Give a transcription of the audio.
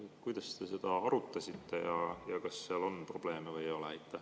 Kas te seda arutasite, kas seal on probleeme või ei ole?